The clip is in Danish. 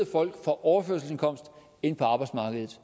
folk fra overførselsindkomst og ind på arbejdsmarkedet